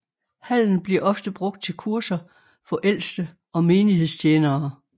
Hallen bliver ofte brugt til kurser for ældste og menighedstjenere